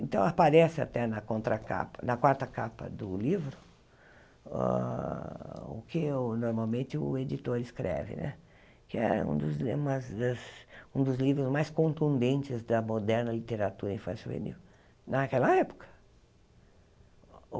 Então, aparece até na contra capa na quarta capa do livro ah o que normalmente o editor escreve né, que é um dos um dos livros mais contundentes da moderna literatura infanto-juvenil naquela época.